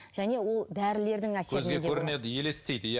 және ол дәрілердің елестейді иә